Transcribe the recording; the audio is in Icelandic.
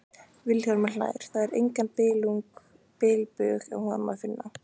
Vilhjálmur hlær, það er engan bilbug á honum að finna.